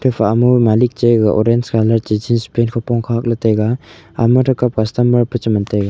epha ma malik cha ga orange colour chi jeans pant hupong khak ley taiga ama tekam customer pi cheman taiga.